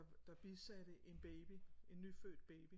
Der der bisatte en baby en nyfødt baby